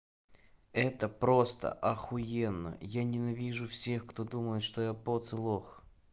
это просто ахуенно я ненавижу всех кто думает что я потолок